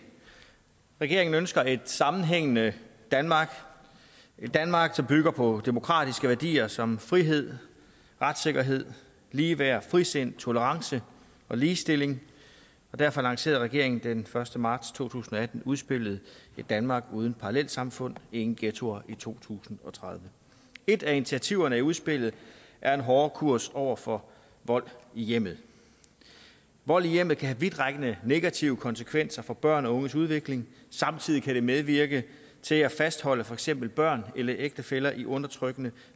regeringen ønsker et sammenhængende danmark et danmark som bygger på demokratiske værdier som frihed retssikkerhed ligeværd frisind tolerance og ligestilling og derfor lancerede regeringen den første marts to tusind og atten udspillet ét danmark uden parallelsamfund ingen ghettoer i to tusind og tredive et af initiativerne i udspillet er en hårdere kurs over for vold i hjemmet vold i hjemmet kan have vidtrækkende negative konsekvenser for børn og unges udvikling samtidig kan det medvirke til at fastholde for eksempel børn eller ægtefæller i undertrykkende